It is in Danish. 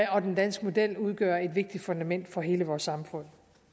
og den danske model udgør et vigtigt fundament for hele vores samfund